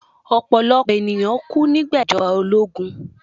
Ọ̀pọ̀lọ̀pọ̀ ènìyàn kú nígbà ìjọba ológun